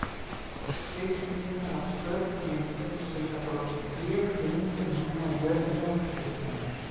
Biblíunnar af sköpun heimsins og syndaflóðinu mjög hugmyndir manna um jörðina og tilurð hennar.